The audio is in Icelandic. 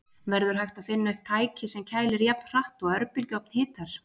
Verður hægt að finna upp tæki sem kælir jafn hratt og örbylgjuofn hitar?